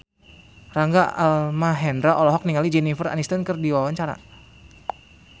Rangga Almahendra olohok ningali Jennifer Aniston keur diwawancara